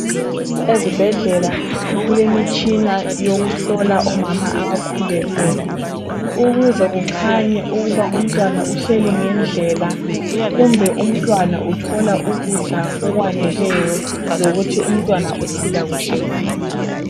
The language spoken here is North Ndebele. Ezibhedlela kulemitshina yokuhlola omama abakhulelweyo ukuze kukhanye ukuba umntwana uhleli ngendlela, kumbe umntwana uthola ukudla okwaneleyo lokuthi umntwana lokuthi umntwana ukhula kuhle yini.